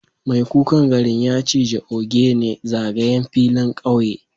Mai kukan garin ya ciji ogene zagayen filin kauye